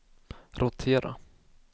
rotera